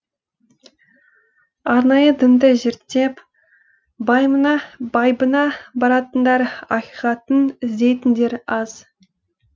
арнайы дінді зерттеп байыбына баратындар ақиқатын іздейтіндер аз